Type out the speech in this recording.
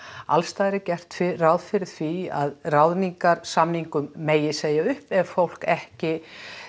allsstaðar er gert ráð fyrir því að ráðningarsamningum megi segja upp ef fólk ekki